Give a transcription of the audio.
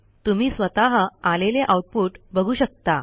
तुम्ही स्वतः आलेले आऊटपुट बघू शकता